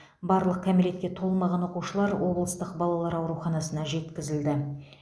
барлық кәмелетке толмаған оқушылар облыстық балалар ауруханасына жеткізілді